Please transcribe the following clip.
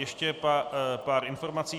Ještě pár informací.